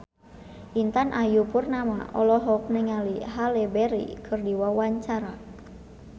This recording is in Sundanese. Intan Ayu Purnama olohok ningali Halle Berry keur diwawancara